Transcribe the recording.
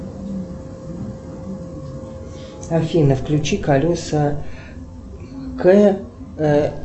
афина включи колеса к